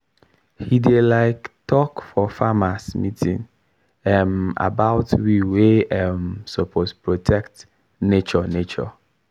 he dey um talk for farmers meeting um about why we um suppose protect nature nature